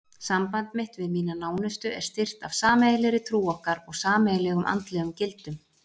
Samband mitt við mína nánustu er styrkt af sameiginlegri trú okkar og sameiginlegum andlegum gildum.